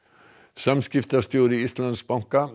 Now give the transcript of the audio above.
samskiptastjóri Íslandsbanka